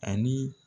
Ani